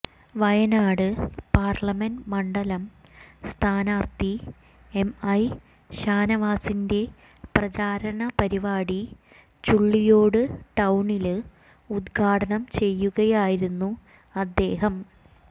Wayanad parliament മണ്ഡലം സ്ഥാനാര്ഥി M I ഷാനവാസിന്റെ പ്രചരണ പരിപാടി ചുള്ളിയോട് ടൌണില് ഉദ്ഘാടനം ചെയ്യുകയായിരുന്നു അദ്ദേഹം